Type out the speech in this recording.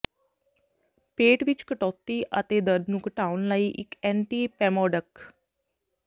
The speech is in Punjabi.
ਪੇਟ ਵਿਚ ਕਟੌਤੀ ਅਤੇ ਦਰਦ ਨੂੰ ਘਟਾਉਣ ਲਈ ਇਕ ਐਂਟੀਪੈਮੋਡਿਕ